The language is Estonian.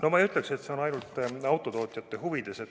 No ma ei ütleks, et see on ainult autotootjate huvides.